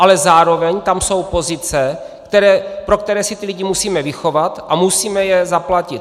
Ale zároveň tam jsou pozice, pro které si ty lidi musíme vychovat a musíme je zaplatit.